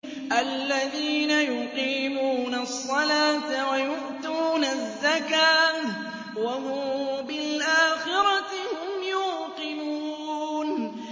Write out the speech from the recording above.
الَّذِينَ يُقِيمُونَ الصَّلَاةَ وَيُؤْتُونَ الزَّكَاةَ وَهُم بِالْآخِرَةِ هُمْ يُوقِنُونَ